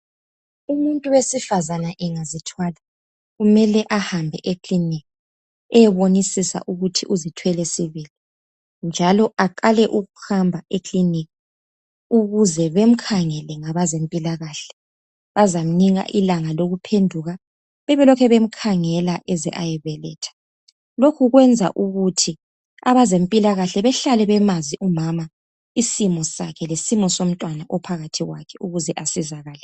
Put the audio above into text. Umuntu wesifazane engazithwala kumele ahambe ekilinika eyebonisisa ukuthi uzithwele sibili njalo, aqale ukuhamba kilinika ukuze bamkhangele ngabezempilakahle bazamnika ilanga lokuphenduka, bebelokhu bemkhangela aze ayebeletha. Lokhu kwenza ukuthi abezempilakahle bahlale bemazi umama isimo sakhe lesimo somntwana ophakathi kwakhe ukuze asizakale.